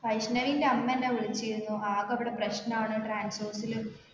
വൈഷ്ണവിൻ്റെ അമ്മ എന്നെ വിളിച്ചിരുന്നു ആകെ അവിടെ പ്രശ്നമാണ് transorze ല്